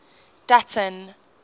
dutton